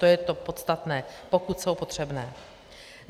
To je to podstatné: pokud jsou potřebné.